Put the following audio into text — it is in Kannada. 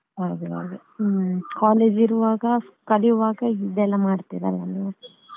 ಹಾಗೆವಾ ಹ್ಮ್ college ಇರುವಾಗ ಕಲಿಯುವಾಗ ಇದೆಲ್ಲ ಮಾಡ್ತಿರಲ್ಲ ನೀವು .